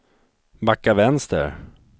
backa vänster